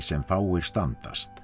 fáir standast